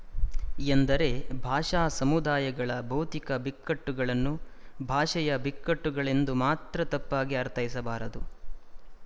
ಎಂದರೆ ಭಾಷಾ ಸಮುದಾಯಗಳ ಭೌತಿಕ ಬಿಕ್ಕಟ್ಟುಗಳನ್ನು ಭಾಷೆಯ ಬಿಕ್ಕಟ್ಟುಗಳೆಂದು ಮಾತ್ರ ತಪ್ಪಾಗಿ ಅರ್ಥೈಸಬಾರದು